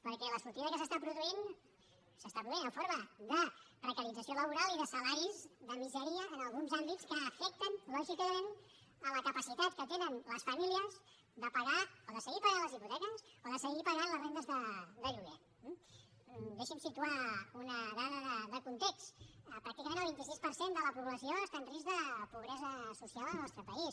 perquè la sortida que s’està produint s’està produint en forma de precarització laboral i de salaris de misèria en alguns àmbits que afecten lògicament la capacitat que tenen les famílies de pagar o de seguir pagant les hipoteques o de seguir pagant les rendes de lloguer eh deixi’m situar una dada de context pràcticament el vint sis per cent de la població està en risc de pobresa social al nostre país